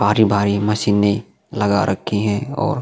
भारी-भारी मशीने लगा रक्खी हैं ओर --